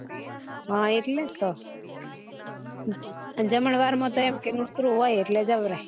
હા એટલે જ તો જમણવાર માં તો એમ કે મિત્રો હોય એટલે જવરાય